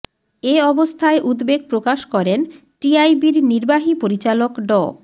এ অবস্থায় উদ্বেগ প্রকাশ করেন টিআইবির নির্বাহী পরিচালক ড